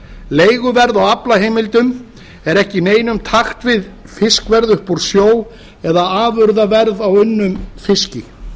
leiguverð á aflaheimildum er ekki í neinum takti við fiskverð upp úr sjó eða afurðaverð á unnum fiski að